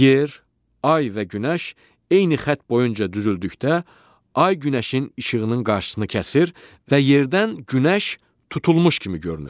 Yer, ay və günəş eyni xətt boyunca düzüldükdə, ay günəşin işığının qarşısını kəsir və yerdən günəş tutulmuş kimi görünür.